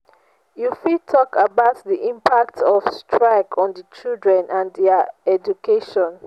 you fit talk about di impact of strike on di children and dia education.